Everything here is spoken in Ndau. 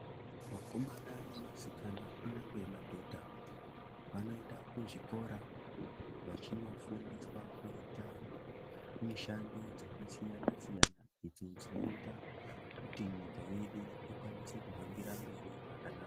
Vakomana nevasikana kunyangwe madhodha, vanoenda kuzvikora, vachinofundiswa kuita mishando dzakasiyana-siyana, idzo dzinoita kuti nyika yedu ikwanise kuhambira mberi zvakanaka.